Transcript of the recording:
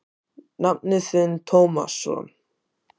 Nafni þinn Tómasson.